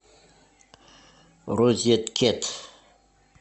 розет кет